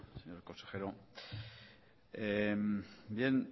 señor consejero